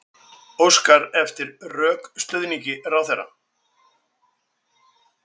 Óskar eftir rökstuðningi ráðherra